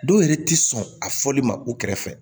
Dɔw yɛrɛ ti sɔn a fɔli ma u kɛrɛfɛ